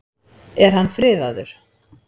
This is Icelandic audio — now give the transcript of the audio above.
Er hann friðaður?